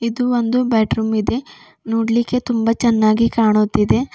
ಇದು ಒಂದು ಬೆಡರೂಮ್ ಇದೆ ನೋಡ್ಲಿಕ್ಕೆ ತುಂಬ ಚೆನ್ನಾಗಿ ಕಾಣುತ್ತಿದೆ.